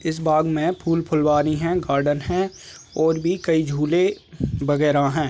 इस बाग़ में फूल फुलवारी है गार्डन है और भी कई झूले वगेरा है।